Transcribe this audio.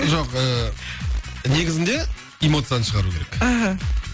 жоқ ыыы негізінде эмоцияны шығару керек аха